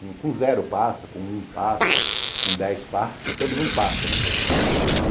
Com zero passa, com um passa, com dez passa, todo mundo passa, né?